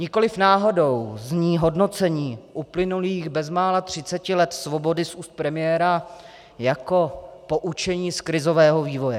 Nikoliv náhodou zní hodnocení uplynulých bezmála třiceti let svobody z úst premiéra jako poučení z krizového vývoje.